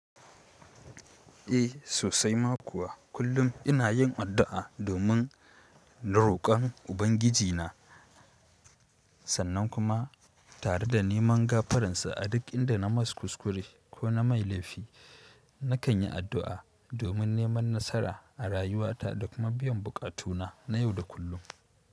Eh sosai ma kuwa. Kullum ina yin addu'a domin da roƙon Ubangiji na, sannan kuma tare da neman gafaransa a duk inda na mas kuskure ko na mai laifi. Nakan yi addu'a domin neman nasara a rayuwata da kuma biyan buƙatuna na yau da kullum.